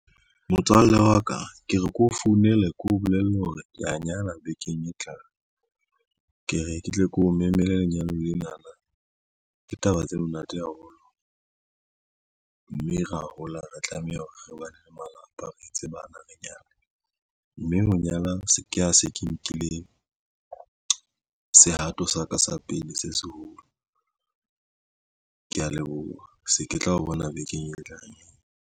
Motswalle wa ka ke re ke o founela, ke o bolelle hore ke a nyala bekeng e tlang. Ke re ke tle ke o memele lenyalong lenana ke taba tse monate haholo, mme ra hola re tlameha hore re bane le malapa, re etse bana, re nyale. Mme ho nyala se ke a se ke nkile sehato sa ka sa pele se seholo, kea leboha se ke tla o bona bekeng e tlang.